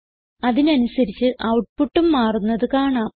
അതിനനുസരിച്ച് ഔട്ട്പുട്ടും മാറുന്നത് കാണാം